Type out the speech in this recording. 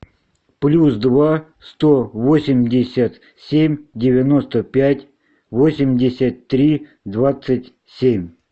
плюс два сто восемьдесят семь девяносто пять восемьдесят три двадцать семь